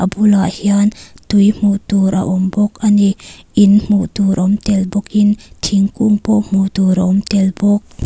a bulah hian tui hmuh tur a awm bawk ani in hmuh tur awm tel bawkin thingkung pawh hmuh tur a awm tel bawk.